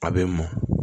A bɛ mɔ